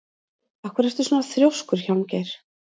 Af hverju ertu svona þrjóskur, Hjálmgeir?